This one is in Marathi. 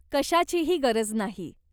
कशाचीही गरज नाही.